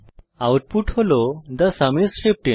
output হল the sum is 15